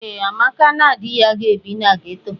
Ee, Amaka na di ya ga-ebi na geto.